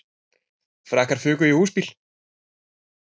Frakkar fuku í húsbíl